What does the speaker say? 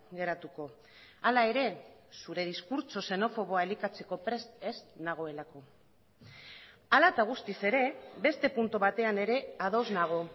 geratuko hala ere zure diskurtso xenofoboa elikatzeko prest ez nagoelako hala eta guztiz ere beste puntu batean ere ados nago